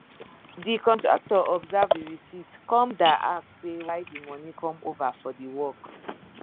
de contractor observe the reciept come da ask say why the money come over for the work